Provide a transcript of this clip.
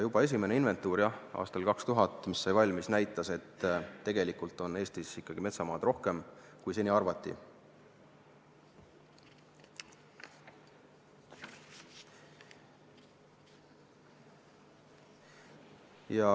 Juba esimene, 2000. aastal valminud inventuur näitas, et tegelikult on Eestis metsamaad ikkagi rohkem, kui seni arvati.